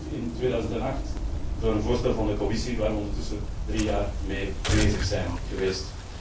In 2008 volgde een voorstel van de Commissie, waar we ondertussen drie jaar mee bezig zijn geweest.